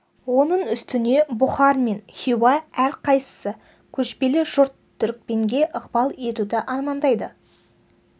оның үстіне бұхар мен хиуа әр қайсысы көшпелі жұрт түрікпенге ықпал етуді армандайды